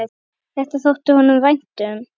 Þetta þótti honum vænt um.